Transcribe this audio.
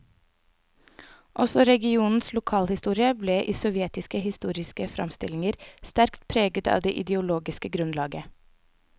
Også regionens lokalhistorie ble i sovjetiske historiske framstillinger sterkt preget av det ideologiske grunnlaget.